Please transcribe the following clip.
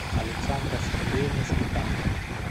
александра сергеевна сметанкина